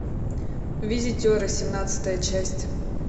визитеры семнадцатая часть